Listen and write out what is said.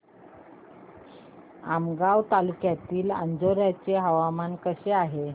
आमगाव तालुक्यातील अंजोर्याचे हवामान कसे आहे